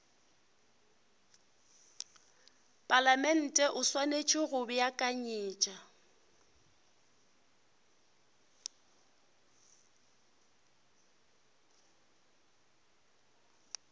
palamente o swanetše go beakanyetša